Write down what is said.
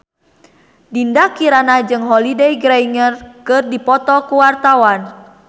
Dinda Kirana jeung Holliday Grainger keur dipoto ku wartawan